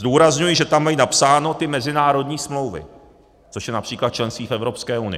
Zdůrazňuji, že tam mají napsány ty mezinárodní smlouvy, což je například členství v Evropské unii.